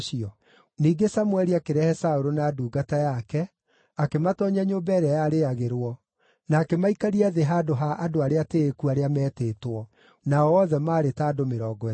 Ningĩ Samũeli akĩrehe Saũlũ na ndungata yake, akĩmatoonyia nyũmba ĩrĩa yarĩagĩrwo, na akĩmaikaria thĩ handũ ha andũ arĩa atĩĩku arĩa meetĩtwo; nao othe maarĩ ta andũ mĩrongo ĩtatũ.